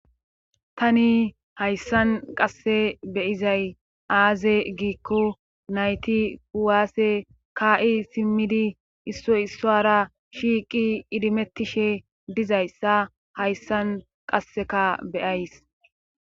tani hayssan qasse beyizay aaze giikko nayti kuwaasse kaa7i simmidi issoy issuwara shiiqi idimettishe dizayssa hayssan qasseka beyays